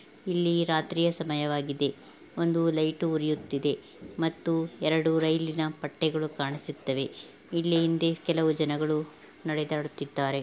ಇಲ್ಲಿ ರಾತ್ರಿಯ ಸಮಯವಾಗಿದೆ ಒಂದು ಲೈಟ್ ಉರಿಯುತಿದೆ ಮತ್ತು ಎರಡು ರೈಲಿ ನ ಪಟ್ಟೆಗಳು ಕಾಣಿಸುತವೆ ಇಲ್ಲಿ ಹಿಂದೆ ಕೆಲವು ಜನಗಳು ನಡೆದಾಡುತ್ತಿದಾರೆ.